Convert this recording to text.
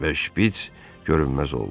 Və şpits görünməz oldu.